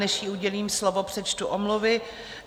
Než jí udělím slovo, přečtu omluvy.